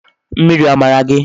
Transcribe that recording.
Mmiri o mara gi?